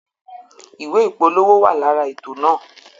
Ìwé ìpolówó wa lára ètò náà